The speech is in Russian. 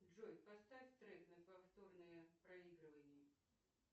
джой поставь трек на повторное проигрывание